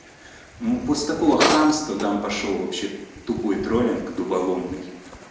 ну после такого хамства там пошёл вообще тупой троллинг дубаломный